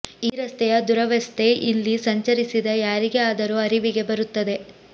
ಈ ರಸ್ತೆಯ ದುರವಸ್ಥೆ ಇಲ್ಲಿ ಸಂಚರಿಸಿದ ಯಾರಿಗೇ ಆದರೂ ಅರಿವಿಗೆ ಬರುತ್ತದೆ